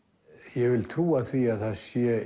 ég vil trúa því að það sé